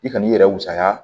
I kan'i yɛrɛ wisa